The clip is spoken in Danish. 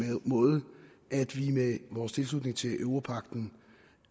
måde at vi med vores tilslutning til europagten